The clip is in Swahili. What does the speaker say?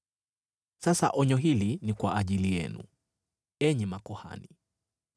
“Sasa onyo hili ni kwa ajili yenu, enyi makuhani.